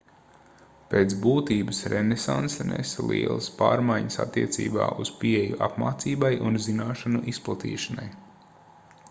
pēc būtības renesanse nesa lielas pārmaiņas attiecībā uz pieeju apmācībai un zināšanu izplatīšanai